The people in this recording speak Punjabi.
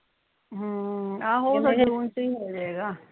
ਹੂ ਆਹੋ ਫੇਰ ਜੂਨ ਚ ਹੀ ਹੋਜੇਗਾ